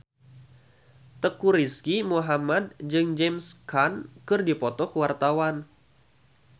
Teuku Rizky Muhammad jeung James Caan keur dipoto ku wartawan